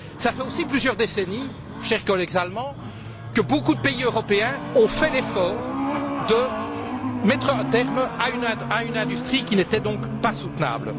Cela fait aussi plusieurs décennies, chers collègues allemands, que beaucoup de pays européens ont fait l'effort de mettre un terme à une industrie qui n'était donc pas soutenable.